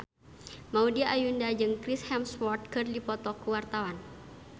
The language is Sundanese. Maudy Ayunda jeung Chris Hemsworth keur dipoto ku wartawan